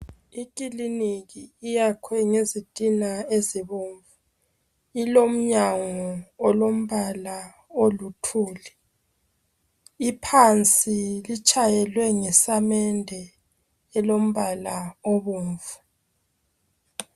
Ikiliniki iyakhwe ngezitina ezibomvu. Ilomnyango olombala oluthuli. Iphansi litshayelwe ngesamende elombala ibomvu.